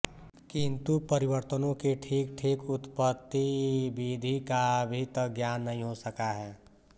किंतु परिवर्तनों की ठीक ठीक उत्पतिविधि का अभी तक ज्ञान नहीं हो सका है